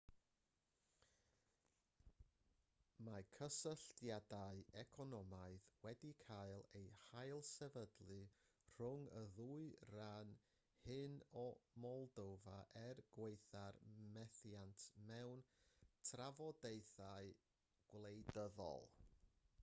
mae cysylltiadau economaidd wedi cael eu hailsefydlu rhwng y ddwy ran hyn o moldofa er gwaetha'r methiant mewn trafodaethau gwleidyddol